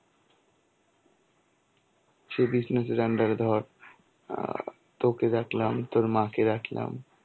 সেই business এর under এ ধর. আ তোকে রাখলাম তোর মাকে রাখলাম.